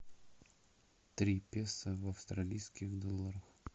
три песо в австралийских долларах